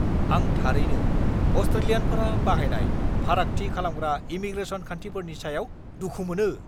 आं थारैनो अस्ट्रेलियानफोरा बाहायनाय फारागथि खालामग्रा इमीग्रेसन खान्थिफोरनि सायाव दुखु मोनो।